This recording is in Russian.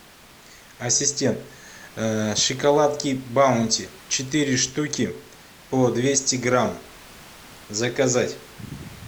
ассистент шоколадки баунти четыре штуки по двести грамм заказать